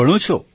Shri Hari જી